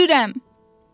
Ölürəm!